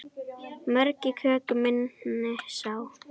Mörg í köku minni sá.